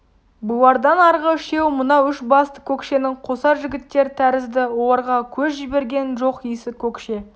бұлардан арғы үшеуі мынау үш басты көкшенң қосар жігіттер тәрізді оларға көз жіберген жоқ иісі көкше